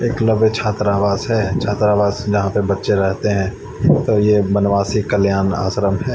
छात्रावास है छात्रावास झा पे बच्चे रहते है तो ये बनवाशी कल्याण आश्रम है।